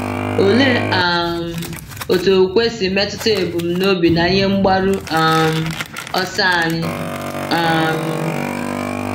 Olee um otú okwukwe si metụta ebumnobi na ihe mgbaru um ọsọ anyị? um